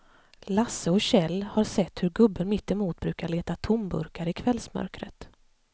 Lasse och Kjell har sett hur gubben mittemot brukar leta tomburkar i kvällsmörkret.